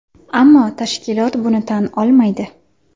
Ammo tashkilot buni tan olmaydi.